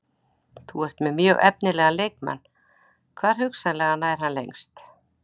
Þú ert með mjög efnilegan leikmann, hvar hugsanlega nær hann lengst?